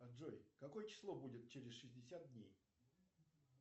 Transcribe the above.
джой какое число будет через шестьдесят дней